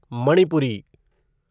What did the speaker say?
Manipuri